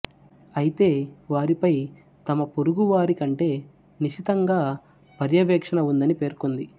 అయితే వారిపై తమ పొరుగువారి కంటే నిశితంగా పర్యవేక్షణ ఉందని పేర్కొంది